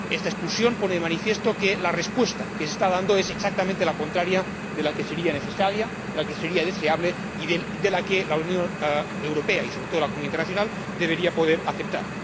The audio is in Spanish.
Esta expulsión pone de manifiesto que la respuesta que se está dando es exactamente la contraria de la que sería necesaria, de la que sería deseable y de la que la Unión Europea y, sobre todo, la comunidad internacional deberían poder aceptar.